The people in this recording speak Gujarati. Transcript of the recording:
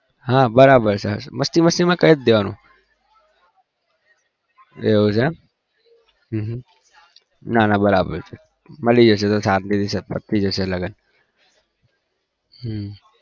હા બરાબર છે મસ્તી મસ્તી માં કઈ દેવાનું એવું છે બરાબર છે મળીએ છીએ હમમ